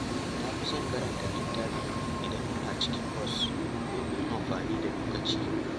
Na fi son karanta littafi idan ina cikin bas domin amfani da lokaci.